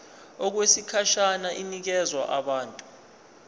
okwesikhashana inikezwa abantu